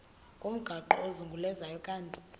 ngomgaqo ozungulezayo ukanti